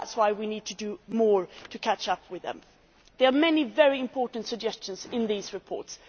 We need to do more to catch up with them. There are many very important suggestions in these reports.